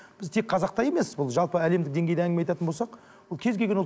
біз тек қазақта емес бұл жалпы әлемдік деңгейде әңгіме айтатын болсақ бұл кез келген ұлт